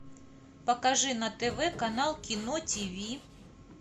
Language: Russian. покажи на тв канал кино тв